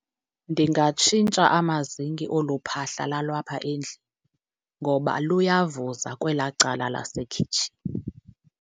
Ndingatshintsha amazinki olu phahla lalwapha endlini, ngoba luyavuza kwelaa cala lasekhitshini.